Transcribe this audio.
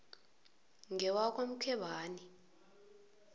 ngewakwamkhwebani